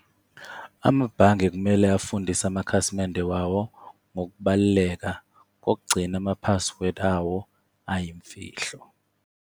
Amabhange kumele afundise amakhasimende wawo ngokubaluleka kokugcina ama-password awo ayimfihlo.